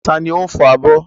Ta ni ó ń fọ abọ́?